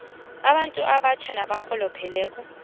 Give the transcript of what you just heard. abantu abatjha nabarholopheleko